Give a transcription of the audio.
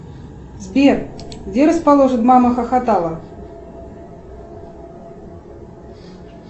сбер где расположен мама хохотала